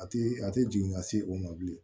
A ti a tɛ jigin ka se o ma bilen